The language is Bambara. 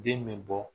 Den bɛ bɔ